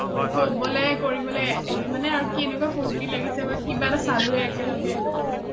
কৰিবলে মানে আৰু কেনেকুৱা ফুৰ্টি লাগিছে বা কিবা এটা চালোয়ে একেলগে অ